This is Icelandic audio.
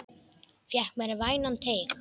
Fékk mér vænan teyg.